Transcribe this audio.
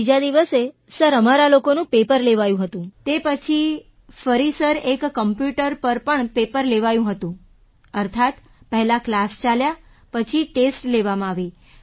ત્રીજા દિવસે સર અમારા લોકોનું પેપર લેવાયું હતું તે પછી ફરી સર એક કમ્પ્યૂટર પર પણ પેપર લેવાયું હતું અર્થાત પહેલા ક્લાસ ચાલ્યા પછી ટેસ્ટ લેવામાં આવી